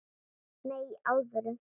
Nei, í alvöru.